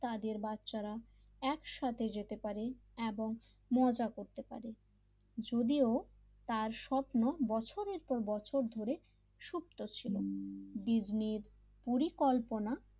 তাদের বাচ্চারা একসাথে যেতে পারে এবং মজা করতে পারে যদিও তার স্বপ্ন বছরের পর বছর ধরে সুপ্ত ছিল ডিজনির পরিকল্পনা,